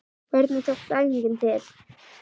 Hvernig tókst æfingin til?